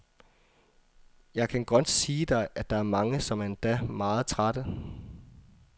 Jeg kan godt sige dig, at der er mange, som er endda meget trætte.